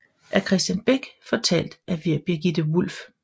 Af Kristian Bech fortalt til Birgitte Wulff